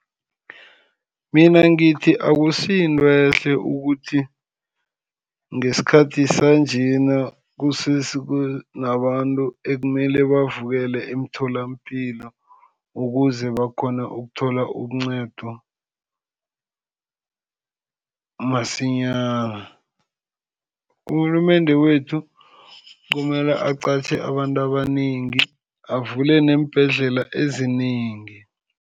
Mina ngithi akusi yinto ehle ukuthi ngesikhathi sanjena kusese nabantu ekumele bavukele emtholapilo ukuze bakghone ukuthola incedo masinyana. Urhulumende wethu kumele aqatjhe abantu abanengi, avule neembhedlela ezinengi.